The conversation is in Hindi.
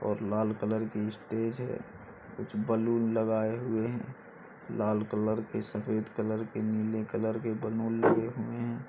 और लाल कलर की स्टेज है कुछ बैलून लगाए हुए हैं। लाल कलर के सफ़ेद कलर के नीले कलर के बैलून लगे हुए हैं।